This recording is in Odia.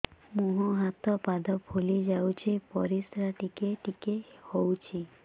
ମୁହଁ ହାତ ପାଦ ଫୁଲି ଯାଉଛି ପରିସ୍ରା ଟିକେ ଟିକେ ହଉଛି